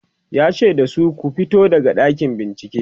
yace da su "ku fito daga ɗakin bincike!"